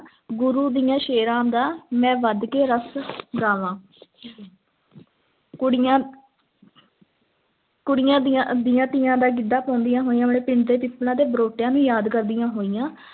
ਗੁਰੂ ਦਿਆਂ ਸ਼ੇਰਾਂ ਦਾ, ਮੈਂ ਵਧ ਕੇ ਰਸ਼ ਗਾਵਾਂ ਕੁੜੀਆਂ ਕੁੜੀਆਂ ਦੀਆਂ ਦੀਆਂ ਤੀਆਂ ਦਾ ਗਿੱਧਾ ਪਾਉਂਦੀਆਂ ਹੋਈਆਂ ਆਪਣੇ ਪਿੰਡ ਦੇ ਪਿੱਪਲਾਂ ਤੇ ਬਰੋਟਿਆਂ ਨੂੰ ਯਾਦ ਕਰਦੀਆਂ ਹੋਈਆਂ